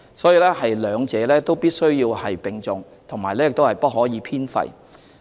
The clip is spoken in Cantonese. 所以，兩者必須並重，亦不可偏廢。